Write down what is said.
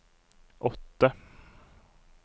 åtte